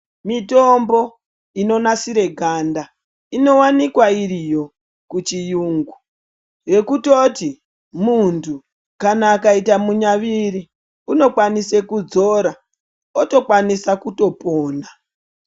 Mitombo inonasire ganda inowanikwa iriyo kuchiyungu yekutoti muntu kana akaita munyaviri unokwanisa kudzora otokwanisa kutopona.